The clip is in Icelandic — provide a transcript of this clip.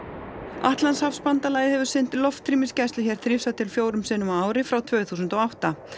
Atlantshafsbandalagið hefur sinnt loftrýmisgæslu hér þrisvar til fjórum sinnum á ári frá tvö þúsund og átta